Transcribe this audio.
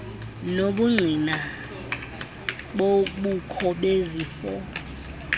nobungqina bobukho bezifo